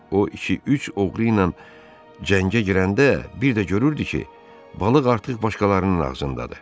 O iki-üç oğru ilə cəngə girəndə bir də görürdü ki, balıq artıq başqalarının ağzındadır.